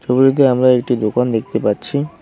ছবিটিতে আমরা একটি দোকান দেখতে পাচ্ছি।